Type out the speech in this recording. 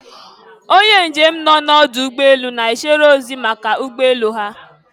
Onye njem nọ n'ọdụ ụgbọ elu, na-echere ozi maka ụgbọ elu ha